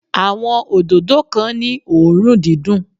Àwọn òdòdó kan ní òórùn dídùn.